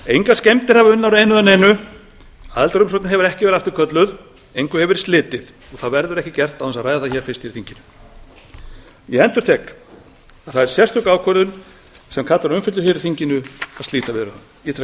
engar skemmdir hafa verið unnar á einu eða neinu aðildarumsóknin hefur ekki verið afturkölluð engu hefur verið slitið og það verður ekki gert án þess að ræða það hér fyrst í þinginu ég endurtek að það er sérstök ákvörðun sem kallar á umfjöllun hér í þinginu að slíta viðræðunum ég ítreka